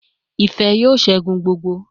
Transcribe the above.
Ife yoo segun gbogbo